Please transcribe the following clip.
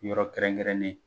Yɔrɔ kɛrɛnkɛrɛnnen